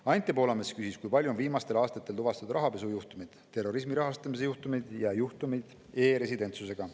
Anti Poolamets küsis, kui palju on viimastel aastatel tuvastatud rahapesujuhtumeid, terrorismi rahastamise juhtumeid ja juhtumeid e‑residentsusega.